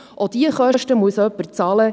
Auch diese Kosten muss jemand bezahlen.